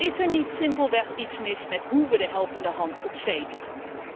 Is er niet simpelweg iets mis met hoe we de helpende hand op zee bieden?